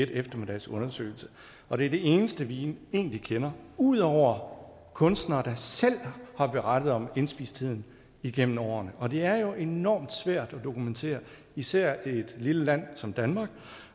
en eftermiddags undersøgelse og det er det eneste vi egentlig kender ud over kunstnere der selv har berettet om indspistheden igennem årene og det er jo enormt svært at dokumentere især i et lille land som danmark